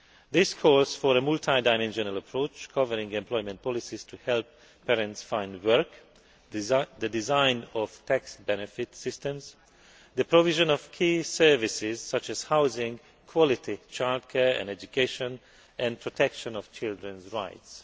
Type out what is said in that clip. This calls for a multidimensional approach, covering employment policies to help parents find work, the design of tax benefit systems, and the provision of key services, such as housing, quality childcare and education, and protection of children's rights.